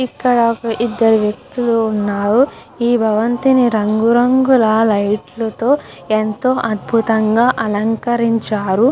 ఇక్కడ ఇదరు వేకుర్తుల్లు వున్నారు. ఇక్కడ రంగు రంగు ల లైట్ ల తో ఎంతో అడుతుంగా అలకరించారు.